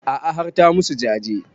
A'a har ta musu jaje